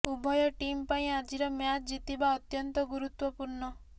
ଉଭୟ ଟିମ୍ ପାଇଁ ଆଜିର ମ୍ୟାଚ୍ ଜିତିବା ଅତ୍ୟନ୍ତ ଗୁରୁତ୍ୱପୂର୍ଣ୍ଣ